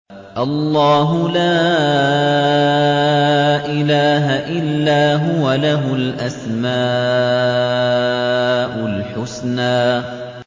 اللَّهُ لَا إِلَٰهَ إِلَّا هُوَ ۖ لَهُ الْأَسْمَاءُ الْحُسْنَىٰ